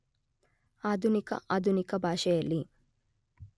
ಆಧುನಿಕ ಆಧುನಿಕ ಭಾಷೆಯಲ್ಲಿ